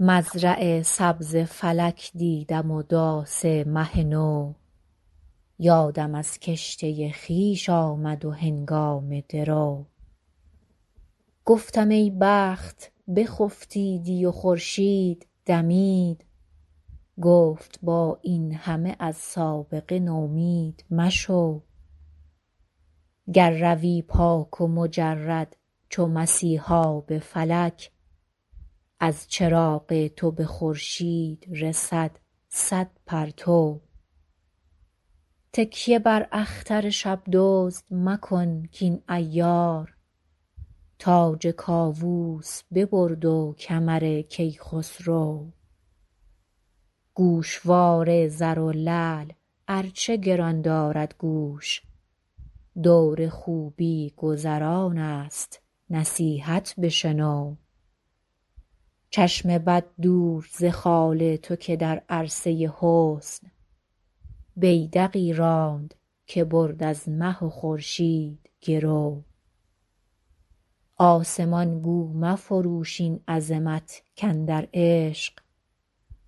مزرع سبز فلک دیدم و داس مه نو یادم از کشته خویش آمد و هنگام درو گفتم ای بخت بخفتیدی و خورشید دمید گفت با این همه از سابقه نومید مشو گر روی پاک و مجرد چو مسیحا به فلک از چراغ تو به خورشید رسد صد پرتو تکیه بر اختر شب دزد مکن کاین عیار تاج کاووس ببرد و کمر کیخسرو گوشوار زر و لعل ار چه گران دارد گوش دور خوبی گذران است نصیحت بشنو چشم بد دور ز خال تو که در عرصه حسن بیدقی راند که برد از مه و خورشید گرو آسمان گو مفروش این عظمت کاندر عشق